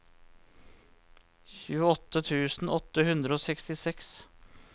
tjueåtte tusen åtte hundre og sekstiseks